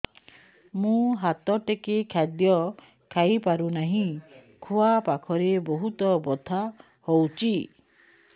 ମୁ ହାତ ଟେକି ଖାଦ୍ୟ ଖାଇପାରୁନାହିଁ ଖୁଆ ପାଖରେ ବହୁତ ବଥା ହଉଚି